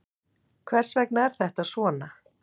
Hvers vegna er þetta svona?